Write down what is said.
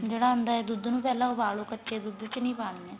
ਜਿਹੜਾ ਆਂਦਾ ਦੁੱਧ ਨੂੰ ਪਹਿਲਾਂ ਉਬਾਲ ਲੋ ਕੱਚੇ ਦੁੱਧ ਚ ਨੀਂ ਪਾਣੀਆਂ